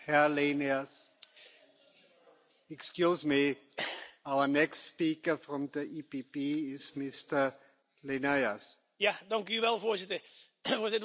Voorzitter, het was een historisch beeld in Warschau zaterdag rechters uit meer dan twintig landen die met hun Poolse collega's de straat op gingen tegen de uitholling van de rechtsstaat.